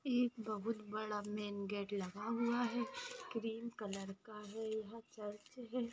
एक बहुत बडा मेन गेट लगा हुआ है क्रीम कलर का है यहा चर्च है।